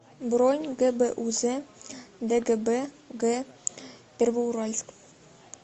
бронь гбуз дгб г первоуральск